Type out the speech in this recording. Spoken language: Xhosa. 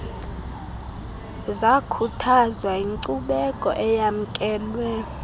zakhuthazwa yinkcubeko eyamkelwe